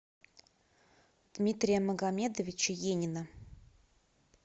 дмитрия магомедовича енина